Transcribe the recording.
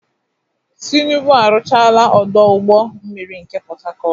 Tinubu arụchaala ọdọ ụgbọ mmiri nke Pọtakọọtụ.